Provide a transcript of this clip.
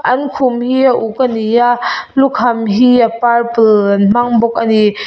an khum hi a uk a ni a lukham hi a purple an hmang bawk a ni.